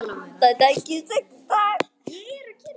Það tækist ekki í dag.